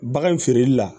Bagan feereli la